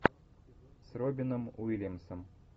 с робином уильямсом